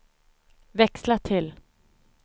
växla till